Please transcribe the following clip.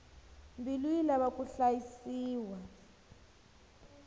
mbilu yi lava ku hlayisiwa